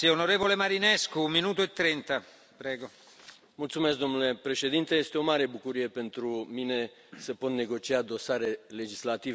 Domnule președinte, este o mare bucurie pentru mine să pot negocia dosare legislative cu Președinția Consiliului asigurată de țara mea.